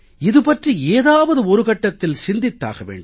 இது பற்றி ஏதாவது ஒரு கட்டத்தில் சிந்தித்தாக வேண்டும்